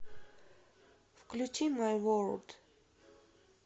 включи май ворлд